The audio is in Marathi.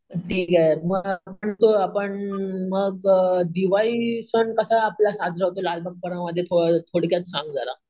ठीक आहे मग परंतु मग आपण मग अम दिवाळी सण कसा आपला साजरा होतो लालबाग परळ मध्ये थोडक्यात सांग जरा.